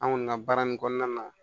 An kɔni ka baara nin kɔnɔna na